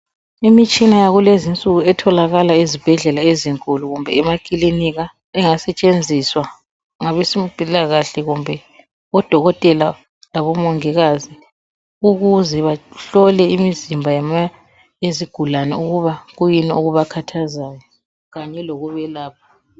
Imitshina yakulezinsuku etholakala ezibhedlela ezinkulu kumbe emakilika engasetshenziswa ngabezempilakahle kumbe odokotela labomongikazi ukuze bahlole imizimba yezigulani ukuba kuyini okubakhazayo kanye lokubelapha.